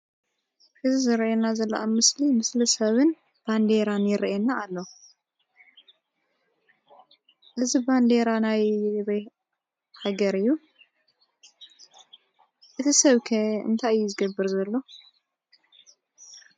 እዙይ ዝርኣየና ዘሎ ኣብ ምስሊ ሰብን ባንዴራን ይርኣየና ኣሎ። እዙይ ባንዴራ ናይ ኣበይ ሃገር እዩ? እቲ ሰብ ከ እንታይ እዩ ዝገብር ዘሎ?